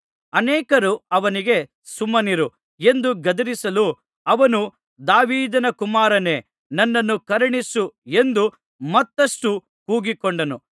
ಅನೇಕರು ಅವನಿಗೆ ಸುಮ್ಮನಿರು ಎಂದು ಗದರಿಸಲು ಅವನು ದಾವೀದನ ಕುಮಾರನೇ ನನ್ನನ್ನು ಕರುಣಿಸು ಎಂದು ಮತ್ತಷ್ಟು ಕೂಗಿಕೊಂಡನು